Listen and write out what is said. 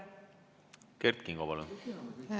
Kert Kingo, palun!